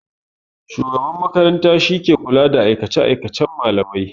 Shugaban makaranta shike kula da aikace-aikacen malamai.